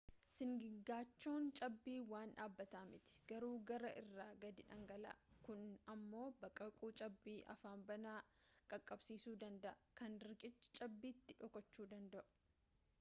sigigaachoon cabbii waan dhabataa miti garuu gaara irraa gadi dhangala'a kun ammoo baqaquu cabbii afaan banaa qaqqabsisuu danda'aa kan riqicha cabbiitiin dhokachuu danda'u